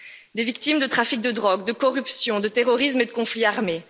Des victimes de trafic de drogue, de corruption, de terrorisme et de conflits armés.